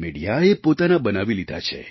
મિડિયાએ પોતાના બનાવી લીધા છે